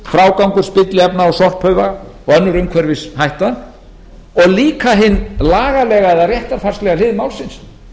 frágangur spilliefna og sorphauga og önnur umhverfishætta og líka hin lagalega eða réttarfarslega hlið málsins